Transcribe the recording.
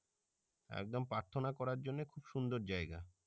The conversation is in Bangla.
একদম প্রার্থনা করার জন্য খুব সুন্দর জাইগা